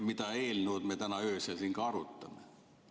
Seda eelnõu me täna öösel siin arutame.